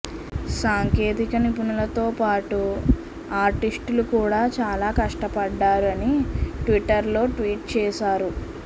సాంకేతిక నిపుణులతో పాటు ఆర్టిస్టులు కూడా చాలా కష్టపడ్డారు అని ట్విట్టర్ లో ట్వీట్ చేసారు